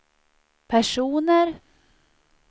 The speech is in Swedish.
personer